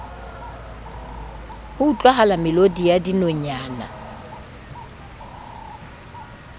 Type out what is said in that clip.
ho utlwahala melodi ya dinonyana